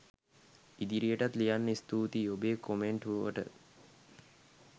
ඉදිරියත් ලියන්න ස්තූතියි ඔබේ කොමෙන්ටුවට.